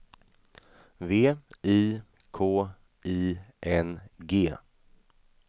V I K I N G